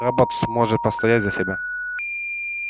роботс может постоять за себя